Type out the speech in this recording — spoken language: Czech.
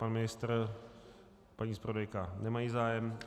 Pan ministr a paní zpravodajka nemají zájem.